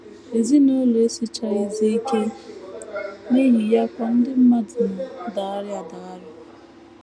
Ezinụlọ esichaghịzi ike..., n’ihi ya kwa ndị mmadụ na - adagharị adagharị. ”